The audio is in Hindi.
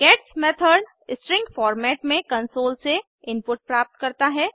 गेट्स मेथड स्ट्रिंग फॉर्मेट में कंसोल से इनपुट प्राप्त करता है